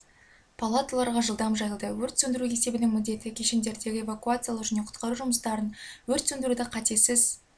палаталарға жылдам жайылды өрт сөндіру есебінің міндеті кешендердегі эвакуациялау және құтқару жұмыстарын өрт сөндіруді қатесіз